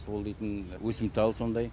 ол дейтін өсімтал сондай